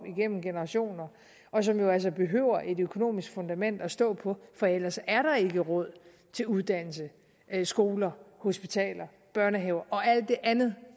igennem generationer og som jo altså behøver et økonomisk fundament at stå på for ellers er der ikke råd til uddannelse skoler hospitaler børnehaver og alt det andet